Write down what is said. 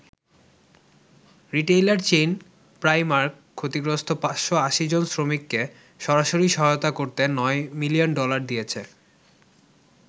Retailer chain Primark ক্ষতিগ্রস্ত ৫৮০ জন শ্রমিককে সরাসরি সহায়তা করতে ৯ মিলিয়ন ডলার দিয়েছে।